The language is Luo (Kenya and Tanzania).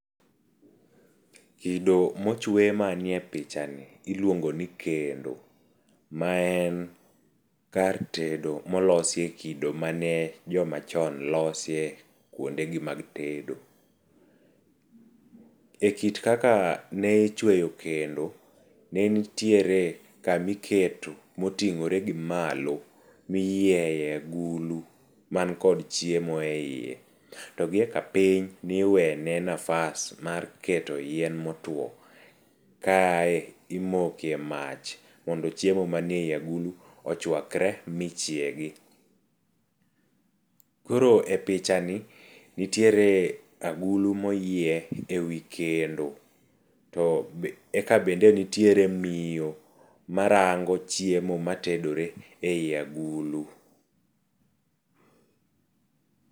Kido mochwe manie pichani iluongi ni kendo ma en kar tedo molosi e kido mane jomachon losie kuondegi mag tedo.E kit kaka ne ichweyo kendo, ne nitiere kamiketo moting'ore gi malo miyieye agulu man kod chiemo eiye. To giyoka piny niwene nafas mar keto yien motwo, kae timoke mach mondo chiemo manie agulu ochwakre michiegi. Koro e pichani nitiere agulu moyie ewi kendo to eka bende nitiere miyo marango chiemo matedore ei agulu.